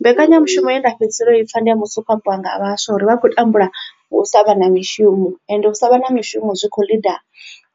Mbekanyamushumo ye nda fhedzisela u ipfa ndi ya musi hu khou ambiwa nga vhaswa uri vha khou tambula u sa vha na mishumo ende u sa vha na mishumo zwi kho ḽida